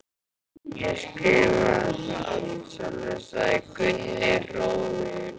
Ég skrifaði það allt sjálfur, sagði Gunni hróðugur.